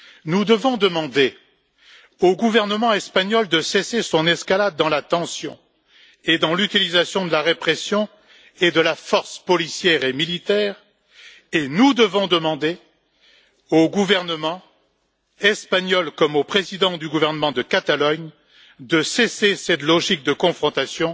Nous devons demander au gouvernement espagnol de cesser son escalade dans la tension, dans l'utilisation de la répression et de la force policière et militaire. Et nous devons demander au gouvernement espagnol, comme au président du gouvernement de Catalogne, de mettre un terme à cette logique de confrontation,